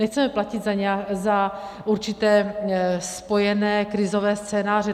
Nechceme platit za určité spojené krizové scénáře.